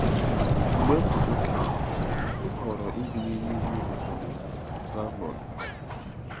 Mgbe m bụ okenye, m họọrọ ibi n'ime ime obodo Vermont.